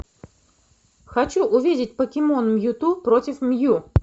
хочу увидеть покемон мьюту против мью